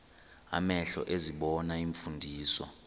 amehlo ezibona iimfundiso